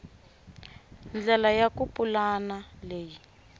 ndlela ya ku pulana leyi